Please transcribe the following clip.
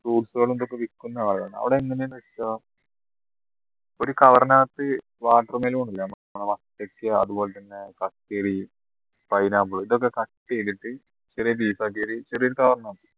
fruits കളും ഇതൊക്കെ വിക്കുന്ന ആള് അവിടെ എങ്ങനെയാ വെച്ചാ ഒരു cover നകത്ത് watermelon ല്ലേ നമ്മള് പത്തക്ക അതുപോലെതന്നെ കക്കിരി pineapple ഇതൊക്കെ cut ചെയ്തിട്ട് ചെറിയ piece ആക്കിയിട്ട് ചെറിയൊരു cover ൽ